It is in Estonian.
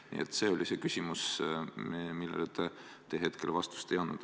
Nii et see oli küsimus, millele te vastust ei andnud.